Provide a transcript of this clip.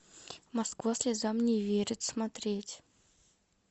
москва слезам не верит смотреть